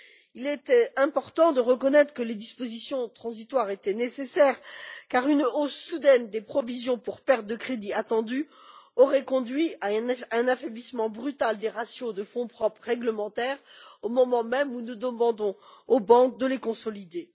Il était important de reconnaître que les dispositions transitoires étaient nécessaires, car une hausse soudaine des provisions pour pertes de crédit attendues aurait conduit à un affaiblissement brutal des ratios de fonds propres réglementaires, au moment même où nous demandons aux banques de les consolider.